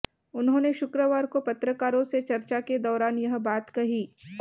उन्होंने शुक्रवार को पत्रकारों से चर्चा के दौरान यह बात कही